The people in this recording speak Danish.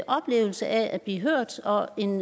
oplevelse af at blive hørt og en